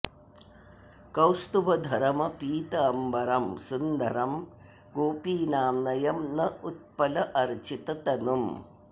कौस्तुभ धरम् पीत अम्बरम् सुन्दरम् गोपीनाम् नयन उत्पल अर्चित तनुम्